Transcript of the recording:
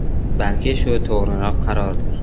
Balki shu to‘g‘riroq qarordir.